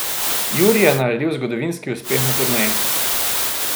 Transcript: Jurij je naredil zgodovinski uspeh na turneji.